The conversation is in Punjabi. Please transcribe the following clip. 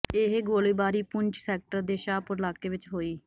ਇਹ ਗੋਲੀਬਾਰੀ ਪੁੰਛ ਸੈਕਟਰ ਦੇ ਸ਼ਾਹਪੁਰ ਇਲਾਕੇ ਵਿੱਚ ਹੋਈ